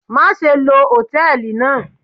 Maṣe lo hòtẹ́ẹ̀lì naa